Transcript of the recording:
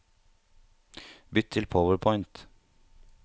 Bytt til PowerPoint